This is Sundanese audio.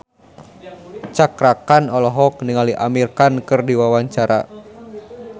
Cakra Khan olohok ningali Amir Khan keur diwawancara